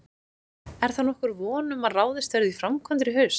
Er þá nokkur von um að ráðist verði í framkvæmdir í haust?